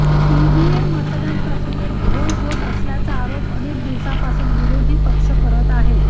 EVM मतदान प्रक्रियेत घोळ होत असल्याचा आरोप अनेक दिवसांपासून विरोधी पक्ष करत आहेत